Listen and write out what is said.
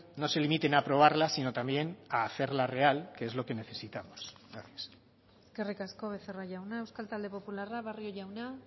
no se limiten a aprobarla sino también a hacerla real que es lo que necesitamos gracias eskerrik asko becerra jauna euskal talde popularra barrio jauna